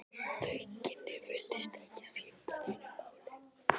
Þau kynni virtust ekki skipta neinu máli.